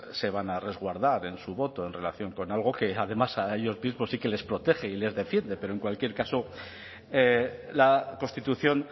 se van a resguardar en su voto en relación con algo que además a ellos mismos sí que les protege y les defiende pero en cualquier caso la constitución